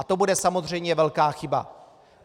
A to bude samozřejmě velká chyba.